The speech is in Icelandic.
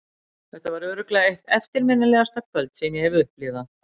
Þetta var örugglega eitt eftirminnilegasta kvöld sem ég hef upplifað.